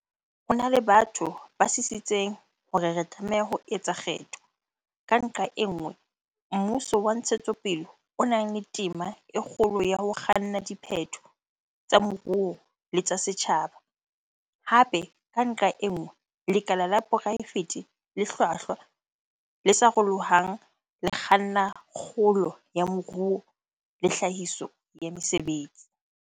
Ho na le batho ba sisitseng hore re tlameha ho etsa kgetho, ka nqa e nngwe, mmuso wa ntshetsopele o nang le tema e kgolo ya ho kganna dipheto tsa moruo le tsa setjhaba, hape, ka nqa e nngwe, lekala la poraefete le hlwahlwa, le sarolohang, le kganna kgolo ya moruo le tlhahiso ya mesebetsi.